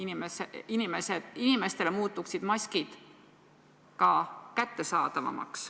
Maskid muutuksid kättesaadavamaks.